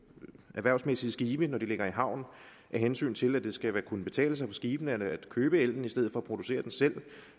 erhvervsmæssige skibe når de ligger i havn af hensyn til at det skal kunne betale sig for skibene at købe ellen i stedet for at producere den selv